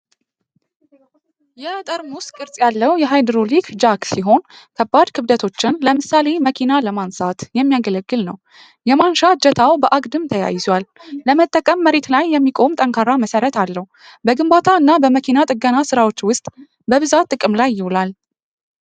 ይ ጠርሙስ ቅርጽ ያለው የሃይድሮሊክ ጃክ ሲሆን፣ ከባድ ክብደቶችን (ለምሳሌ መኪና) ለማንሳት የሚያገለግል ነው። የማንሻ እጀታው በአግድም ተያይዟል። ለመጠቀም መሬት ላይ የሚቆም ጠንካራ መሰረት አለው። በግንባታ እና በመኪና ጥገና ስራዎች ውስጥ በብዛት ጥቅም ላይ ይውላል።